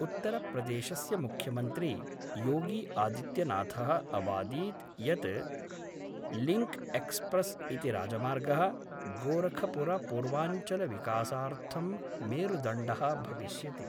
उत्तरप्रदेशस्य मुख्यमंत्री योगी आदित्यनाथ: अवादीत् यत् लिंक्एक्सप्रेस् इति राजमार्गः गोरखपुरपूर्वांचलविकासार्थं मेरुदण्डः भविष्यति।